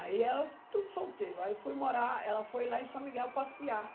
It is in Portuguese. Aí elas, tudo solteiro, aí eu fui morar, ela foi lá em São Miguel passear.